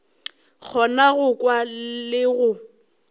kgona go kwa le ge